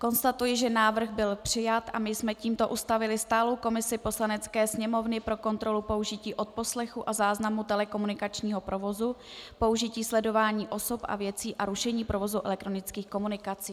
Konstatuji, že návrh byl přijat a my jsme tímto ustavili stálou komisi Poslanecké sněmovny pro kontrolu použití odposlechu a záznamu telekomunikačního provozu, použití sledování osob a věcí a rušení provozu elektronických komunikací.